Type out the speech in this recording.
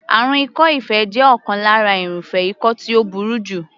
Àrùn ikọ́-ife jẹ́ ọ̀kan lára irúfẹ́ ikọ́ tí ó burú jù.